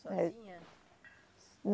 Sozinha?